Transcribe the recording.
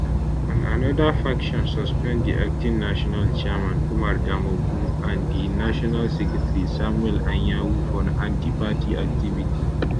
and anoda faction suspend di acting national chairman umar damagum and di national secretary samuel anyanwu for antiparty activity